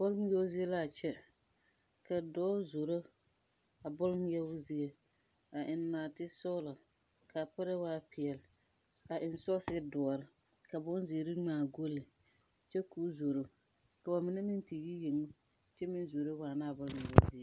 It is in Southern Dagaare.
Bɔl ngmeɛɛo zie laa kyɛ ka dɔɔ zoro a bɔl ngmeɛo zie a eŋ naate sɔglɔ kaa para waa peɛɛli a eŋ sɔɔse doɔre ka bonzeere ngmaa golle kyɛ koo zoro ka ba mine meŋ te yi yenge kyɛ meŋ zoro waanaa bɔl ngmeɛbo zie.